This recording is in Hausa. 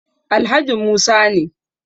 Alhaji Musa ne